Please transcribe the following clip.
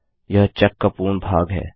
यह चेक का पूर्ण भाग है